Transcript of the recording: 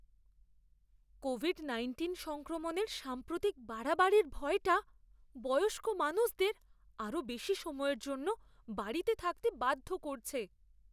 Covid nineteen সংক্রমণের সাম্প্রতিক বাড়াবাড়ির ভয়টা বয়স্ক মানুষদের আরও বেশি সময়ের জন্য বাড়িতে থাকতে বাধ্য করছে।